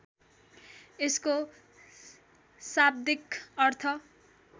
यसको शाब्दिक अर्थ